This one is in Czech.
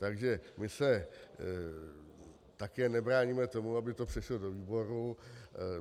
Takže my se také nebráníme tomu, aby to přešlo do výborů.